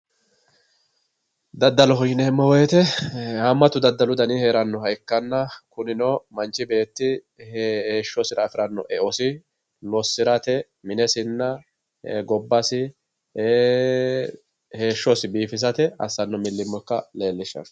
daddaloho yineemmo woyte haamatu daddalu dani hee'rannoha ikkanna unino manchi beetti heeshshosira afi'ranno eosi lossi'ratenna minesi gobbasi ee heeshhsosi biifisate assanno milimillo ikkasi leellishshanno.